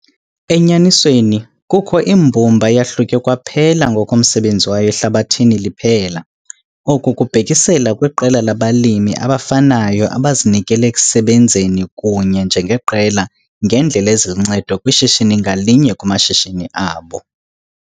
Enyanisweni, kukho imbumba eyahluke kwaphela ngokomsebenzi wayo ehlabathini liphelele. Oku kubhekiselele kwiqela labalimi abafanayo abazinikele ekusebenzeni kunye njengeqela ngeendlela eziluncedo kwishishini ngalinye kumashishini abo.